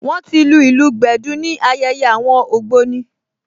Wọ́n ti lu ìlù gbẹ̀dú ní ayẹyẹ àwọn ògbóni